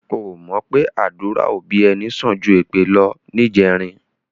O ò mọ̀ pé àdúrà òbí ẹni sàn ju èpè lọ níjẹrin?